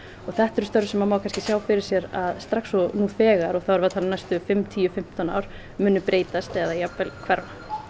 og þetta eru störf sem má kannski sjá fyrir sér að strax og nú þegar og þá erum við að tala um næstu tíu til fimmtán ár munu breytast eða jafnvel hverfa